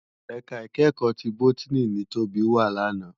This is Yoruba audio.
Èká ikèékò ti bótìní ni Tobi wá làná